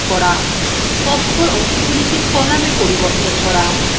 তথ্যর অংশগুলি কে কলাম –এ পরিবর্তন করা